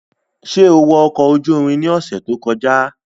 Ṣe o wọ ọkọ oju irin ni ọsẹ to kọja?